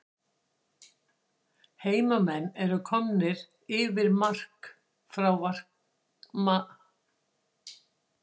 HEIMAMENN ERU KOMNIR YFIR EFTIR MARK FRÁ VARAMANNINUM GUNNARI MÁ GUÐMUNDSSYNI!!